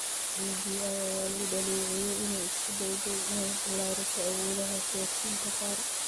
BBI ayaa lagu dhaleeceeyay inay isku dayday inay ballaariso awoodda siyaasiyiinta qaar.